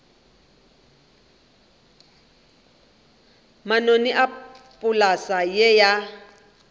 manoni a polase ye ya